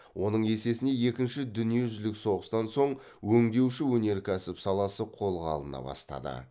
оның есесіне екінші дүниежүзілік соғыстан соң өңдеуші өнеркәсіп саласы қолға алына бастады